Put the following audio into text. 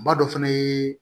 Ma dɔ fɛnɛ ye